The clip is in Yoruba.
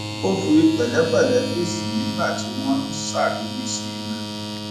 ó fi pèlépèlé fèsì nígbà tí wón ń ṣàríwísí rè